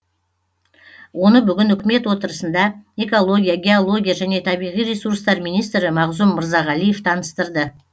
оны бүгін үкімет отырысында экология геология және табиғи ресурстар министрі мағзұм мырзағалиев таныстырды